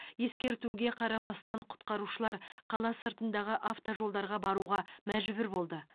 ескертуге қарамастан құтқарушылар қала сыртындағы автожолдарға баруға мәжбүр болды